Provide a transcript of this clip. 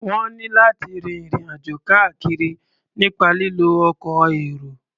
Wọ́n ní láti rin ìrìn-àjò káàkiri nípa lílo ọkọ̀ èrò.